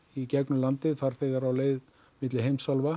í gegnum landið farþegar á leið milli heimsálfa